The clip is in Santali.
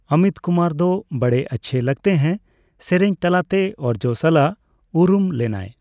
ᱚᱢᱤᱛ ᱠᱩᱢᱟᱨ ᱫᱚ '' ᱵᱚᱲᱮ ᱟᱪᱪᱷᱮ ᱞᱟᱜᱽᱛᱮ ᱦᱮ '' ᱥᱮᱨᱮᱧ ᱛᱟᱞᱟᱛᱮ ᱚᱨᱡᱚ ᱥᱟᱞᱟᱜ ᱩᱨᱩᱢ ᱞᱮᱱᱟᱭ ᱾